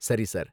சரி சார்.